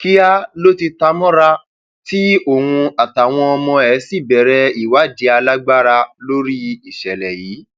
kíá ló ti ta mọra tí òun àtàwọn ọmọ ẹ sì bẹrẹ ìwádìí alágbára lórí ìṣẹlẹ yìí